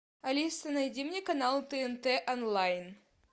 алиса найди мне канал тнт онлайн